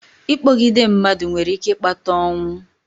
Ịkpọgide mmadụ nwere ike ịkpata ọnwụ.